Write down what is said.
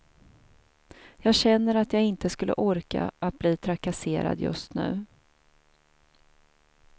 Jag känner att jag inte skulle orka att bli trakasserad just nu.